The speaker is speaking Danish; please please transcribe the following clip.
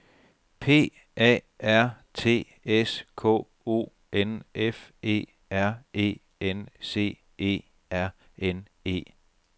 P A R T S K O N F E R E N C E R N E